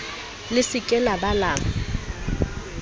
se ke la ba la